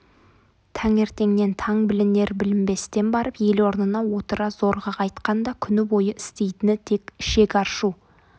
таңертеңнен таң білінер-білінбестен барып ел орнына отыра зорға қайтқанда күні бойы істейтіні тек ішек аршу